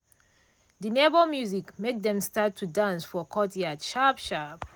de neighbor music make dem start to dance for courtyard sharp sharp.